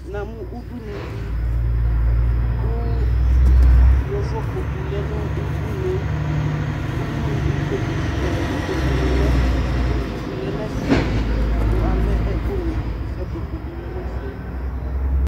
Na mʋ udunu di kʋ yovo kpoku lɛ nʋ udunu yɛ kʋ ikpoku sua ɛɛ ilpokuni lɛ, kʋ ivu lɛ n'ɛfɛ, kʋ alɛ ɛkʋni, sapopo bi lɛ n'ɛfɛ